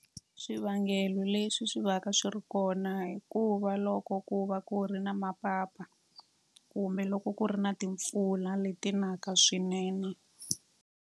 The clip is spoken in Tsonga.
Swivangelo leswi swi va ka swi ri kona hikuva loko ku va ku ri na mapapa kumbe loko ku ri na timpfula leti naka swinene.